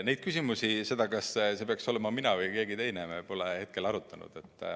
Neid küsimusi, seda, kas peaks olema mina või keegi teine, me pole hetkel arutanud.